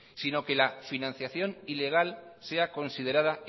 si no que la financiación ilegal sea considerada